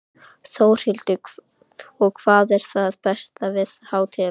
Þórhildur: Og hvað er það besta við hátíðina?